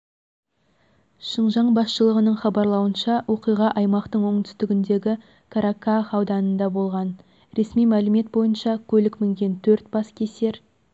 шыңжаң басшылығының хабарлауынша оқиға аймақтың оңтүстігіндегі караках ауданында болған ресми мәлімет бойынша көлік мінген төрт баскесер